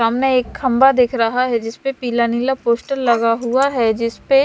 सामने एक खम्बा दिख रहा है जिसपे पीला नीला पोस्टर लगा हुआ है जिसपे--